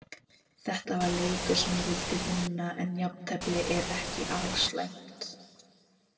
Þetta var leikur sem ég vildi vinna, en jafntefli er ekki alslæmt.